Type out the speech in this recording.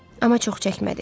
Amma çox çəkmədi.